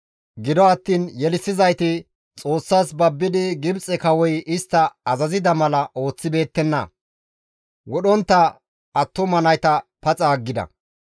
Gido attiin Yelissizayti Xoossas babbidi Gibxe kawoy istta azazida mala ooththibeettenna; wodhontta attuma nayta paxa aggida.